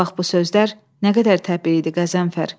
O vaxt bu sözlər nə qədər təbii idi, Qəzənfər?